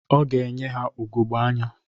Ọ ga-enye ha ugogbe anya.